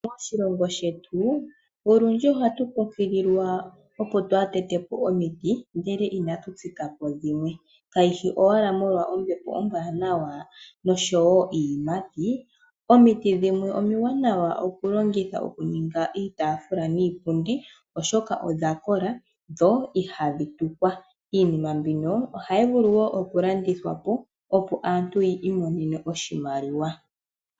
Moshilongo shetu olundji ohatu kunkililwa opo twaatetepo omiti ndele otwa pumbwa oku thigapo dhimwe. Kayishi owala ombepo ombwaanawa noshowo iiyimati omiti dhimwe omiwanawa oku longithwa oku ninga iitafula niipundi oshoka odhakola dho ihadhi tukwa mbala. Iinima mbino ohti vulu wo okulandithwa po, opo aantu yi imonene oshimaliwa.